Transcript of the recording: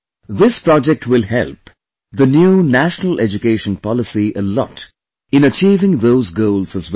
This project will help the new National Education Policy a lot in achieving those goals as well